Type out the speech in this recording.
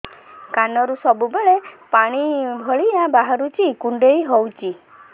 କାନରୁ ସବୁବେଳେ ପାଣି ଭଳିଆ ବାହାରୁଚି କୁଣ୍ଡେଇ ହଉଚି